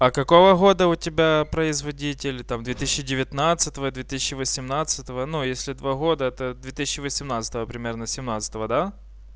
а какого года у тебя производитель там две тысячи девятнадцвьь две тысячи восемнадцать но если два года это две тысячи восемнадцать примерно семнадцать да